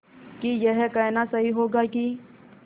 कि यह कहना सही होगा कि